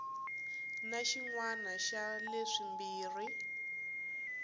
na xin wana xa leswimbirhi